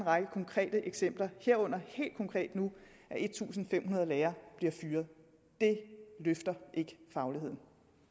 række konkrete eksempler herunder helt konkret nu at en tusind fem hundrede lærere bliver fyret det løfter ikke fagligheden